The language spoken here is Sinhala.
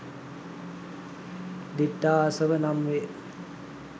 දිට්ඨාසව නම් වේ.